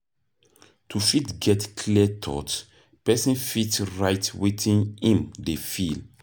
To fit get clear thought, person fit write wetin im dey feel